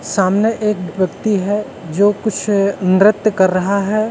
सामने एक व्यक्ति है जो कुछ नृत्य कर रहा है।